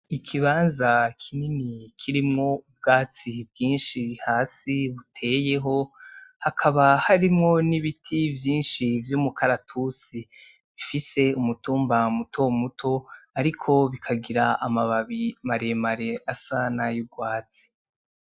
Ikibanza kinini kirimwo ubwatsi bwinshi hasi buteyeho hakaba harimwo n'ibiti vyinshi vy'umukaratusi, bifise umutumba mutomuto ariko bikagira amababi maremare asa nay'urwatsi.